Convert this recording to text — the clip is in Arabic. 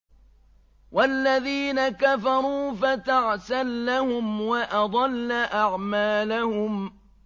وَالَّذِينَ كَفَرُوا فَتَعْسًا لَّهُمْ وَأَضَلَّ أَعْمَالَهُمْ